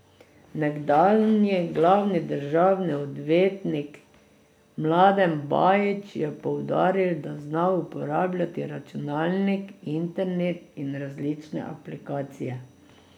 Nekdanji glavni državni odvetnik Mladen Bajić je poudaril, da zna uporabljati računalnik, internet in različne aplikacije.